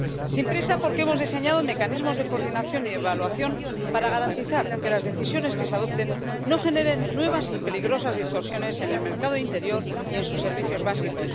sin prisa, porque hemos diseñado mecanismos de coordinación y evaluación para garantizar que las decisiones que se adopten no generen nuevas y peligrosas distorsiones en el mercado interior y en sus servicios básicos.